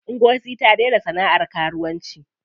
Ngozi ta daina sana'ar karuwanci.